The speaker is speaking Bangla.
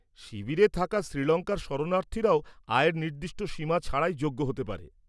শিবিরে থাকা শ্রীলঙ্কার শরণার্থীরাও আয়ের নির্দিষ্ট সীমা ছাড়াই যোগ্য হতে পারে।